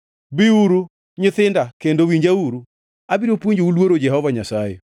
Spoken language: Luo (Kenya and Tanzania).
Biuru nyithinda kendo winjauru. Abiro puonjou luoro Jehova Nyasaye.